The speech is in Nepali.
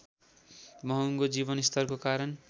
महँगो जीवन स्तरको कारण